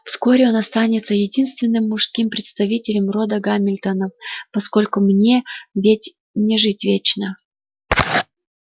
вскоре он останется единственным мужским представителем рода гамильтонов поскольку мне ведь не жить вечно